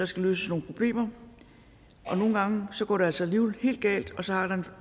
skal løses nogle problemer og nogle gange går det altså alligevel helt galt og så er der